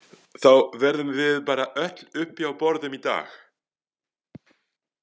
Þá verðum við bara öll uppi á borðum í dag